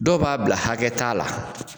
Dɔw b'a bila hakɛ t'a la